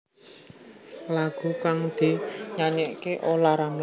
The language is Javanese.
Lagu kang dinyanyekaké Olla Ramlan